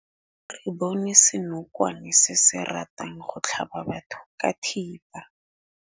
Re bone senokwane se se ratang go tlhaba batho ka thipa.